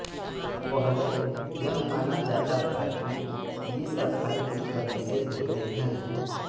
पहले यह माना जाता था कि ये सफाई की कमी से होते हैं